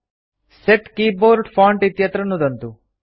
सेत् keyboard font इत्यत्र नुदन्तु